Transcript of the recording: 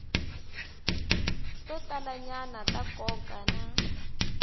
to talanyana ta nkoka na